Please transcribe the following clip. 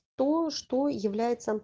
то что является